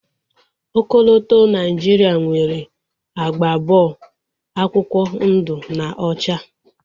Ọkọlọtọ Naijiria nwere agba abụọ, akwụkwọ ndu na ocha